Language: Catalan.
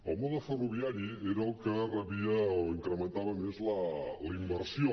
el mode ferroviari era el que rebia o incrementava més la inversió